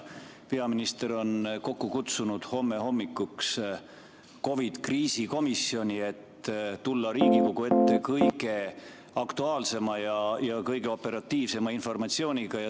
Peaminister on kokku kutsunud homme hommikuks COVID‑i kriisikomisjoni, et tulla Riigikogu ette kõige aktuaalsema ja kõige operatiivsema informatsiooniga.